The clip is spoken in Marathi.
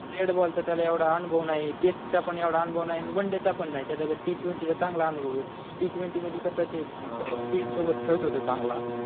रेड बॉल चा त्याला एवढा अनुभव नाही टेस्ट चा पण एवढा अनुभव नाही आणि वन डे चा पण नाही त्याच्याकडे टी ट्वेंटी चा चांगला अनुभव आहे टी ट्वेंटी मध्ये कसा ते फीड सोबत खेळतो तो चांगला